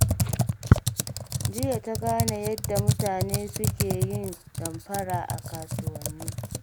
Jiya ta gane yadda mutane suke yin damfara a kasuwanni.